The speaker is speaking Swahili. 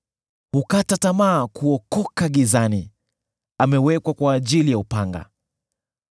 Hukata tamaa kuokoka gizani; amewekwa kwa ajili ya upanga.